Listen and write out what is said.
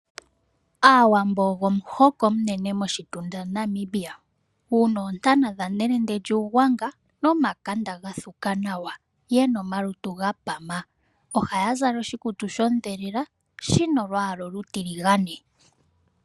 Aawambo ogo omuhoko omunene moshitunda shaNamibia muna oontana dhaNelende lyuUgwanga nomakanda ga thuka nawa yena omalutu ga pama. Ohaya zala oshikutu shondhelela shina olwaala olutiligane.